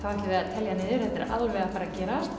telja niður þetta er alveg að fara að gerast